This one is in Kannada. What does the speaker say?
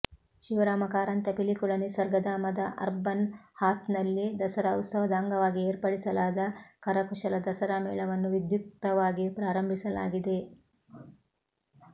ಶಿವರಾಮ ಕಾರಂತ ಪಿಲಿಕುಳ ನಿಸರ್ಗಧಾಮದ ಅರ್ಬನ್ ಹಾಥ್ನಲ್ಲಿ ದಸರಾ ಉತ್ಸವದ ಅಂಗವಾಗಿ ಏರ್ಪಡಿಸಲಾದ ಕರಕುಶಲ ದಸರಾ ಮೇಳವನ್ನು ವಿದ್ಯುಕ್ತವಾಗಿ ಪ್ರಾರಂಭಿಸಲಾಗಿದೆ